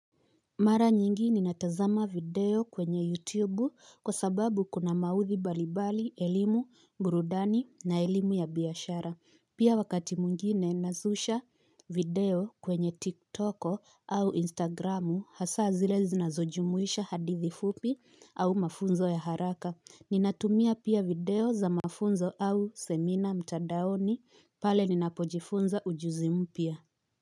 Mara nyingi ninatazama video kwenye YouTube kwa sababu kuna maudhui mbalimbali, elimu, burudani na elimu ya biashara. Pia wakati mwingine nazusha video kwenye TikTok au Instagramu hasa zile zinazojumuisha hadithi fupi au mafunzo ya haraka. Ninatumia pia video za mafunzo au semina mtandaoni pale ninapojifunza ujuzi mpya.